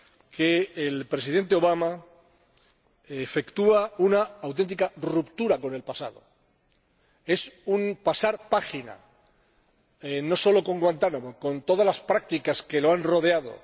que el Presidente Obama efectúa una auténtica ruptura con el pasado es un pasar página, no solo con Guantánamo, sino también con todas las prácticas que lo han rodeado.